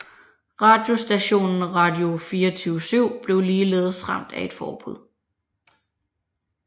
Radiostationen Radio24syv blev ligeledes ramt af et forbud